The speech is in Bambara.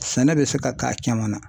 Sɛnɛ bɛ se ka k'a caman na.